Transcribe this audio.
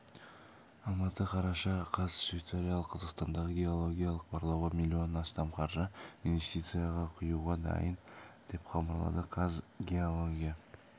алматы қараша қаз швейцарлық қазақстандағы геологиялық барлауға миллионнан астам қаржы инвестиция құюға дайын деп хабарлады қазгеология